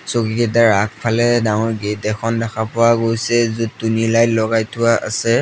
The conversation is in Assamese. চকীকিটাৰ আগফালে ডাঙৰ গেট এখন দেখা পোৱা গৈছে য'ত টুনি লাইট লগাই থোৱা আছে।